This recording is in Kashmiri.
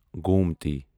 گومتی